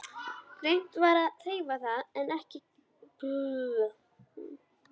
Reynt var að hreyfa það en ekkert gekk.